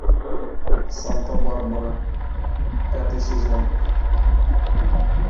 санта барбара пятый сезон